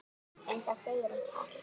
En það segir ekki allt.